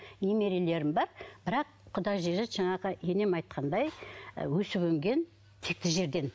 немерелерім бар бірақ құда жекжат жаңағы енем айтқандай өсіп өнген текті жерден